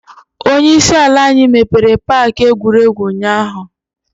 Onye isi ala anyi mepere paaki egwuregwu ụnyaahụ.